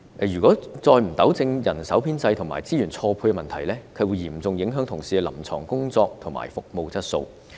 如果再不糾正人手編制和資源錯配問題，將會嚴重影響同事的臨床工作及服務質素。